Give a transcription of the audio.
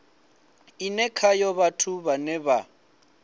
ine khayo vhathu vhane vha